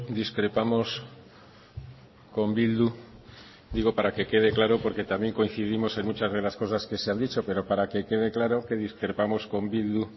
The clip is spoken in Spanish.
discrepamos con bildu digo para que quede claro porque también coincidimos en muchas de las cosas que se han dicho pero para que quede claro que discrepamos con bildu